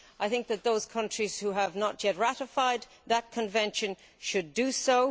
I think that those countries that have not yet ratified that Convention should do so.